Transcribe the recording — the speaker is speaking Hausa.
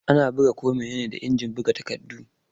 Ana buga ko mene ne da injin buga takardu.